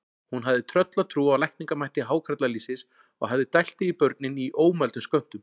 Hún hafði tröllatrú á lækningamætti hákarlalýsis og hafði dælt því í börnin í ómældum skömmtum.